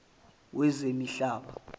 wezemihlaba